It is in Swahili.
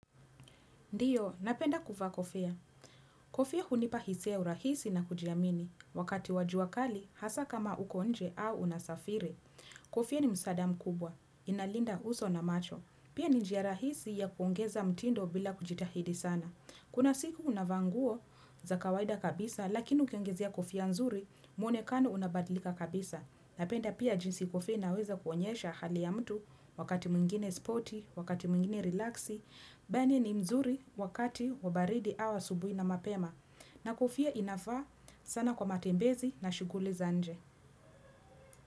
Ndiyo, napenda kuvaa kofia. Kofia hunipa hisia ya urahisi na kujiamini. Wakati wa jua kali, hasa kama uko nje au unasafiri. Kofia ni msaada mkubwa. Inalinda uso na macho. Pia ni njia rahisi ya kuongeza mtindo bila kujitahidi sana. Kuna siku unavaa nguo za kawaida kabisa lakini ukiongezea kofia nzuri mwonekano unabadlika kabisa. Napenda pia jinsi kofia inaweza kuonyesha hali ya mtu wakati mwengine spoti, wakati mwengine relaxi, bani ni mzuri wakati wa baridi au asubui na mapema. Na kofia inafaa sana kwa matembezi na shughuli za nje.